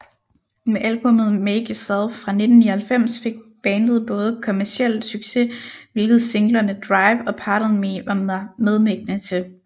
Med albummet Make Yourself fra 1999 fik bandet både kommercielt succes hvilket singlerne Drive og Pardon Me var medvirkende til